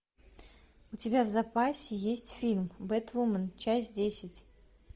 у тебя в запасе есть фильм бэтвумен часть десять